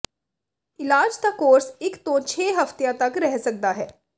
ਇਲਾਜ ਦਾ ਕੋਰਸ ਇੱਕ ਤੋਂ ਛੇ ਹਫ਼ਤਿਆਂ ਤੱਕ ਰਹਿ ਸਕਦਾ ਹੈ